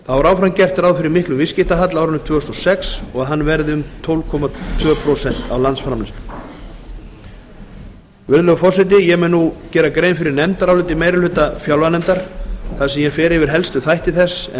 þá er áfram gert ráð fyrir miklum viðskiptahalla á árinu tvö þúsund og sex og að hann verði um tólf komma tvö prósent af landsframleiðslu hæstvirtur forseti ég mun nú gera grein fyrir nefndaráliti meiri hluta fjárlaganefndar þar sem ég fer yfir helstu þætti þess en vísa